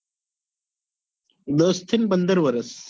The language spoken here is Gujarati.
દસ થી પંદર વર્ષ